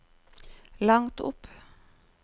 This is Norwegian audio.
langt opp